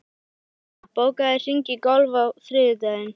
Stína, bókaðu hring í golf á þriðjudaginn.